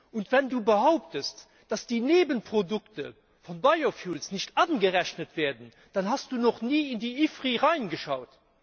Und wenn du behauptest, dass die Nebenprodukte von nicht angerechnet werden, dann hast du noch nie in die IFPRI Studie reingeschaut.